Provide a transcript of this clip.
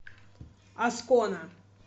аскона